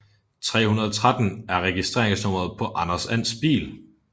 313 er registreringsnummeret på Anders Ands bil